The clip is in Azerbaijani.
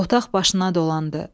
Otaq başına dolandı.